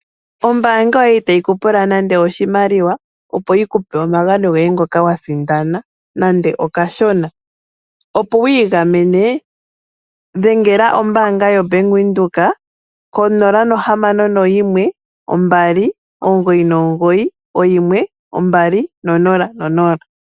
Ombaanga yoye itayi ku pula nande oshimaliwa, opo yi kupe omagano goye ngoka wa sindana nande okashona, opo wu igamene dhengela ombaanga yo Bank Windhoek, ko 0612991200.